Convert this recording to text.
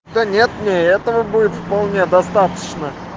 да нет мне и этого будет вполне достаточно